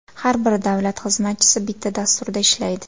Har bir davlat xizmatchisi bitta dasturda ishlaydi.